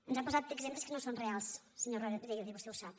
ens ha posat exemples que no són reals senyor rodríguez i vostè ho sap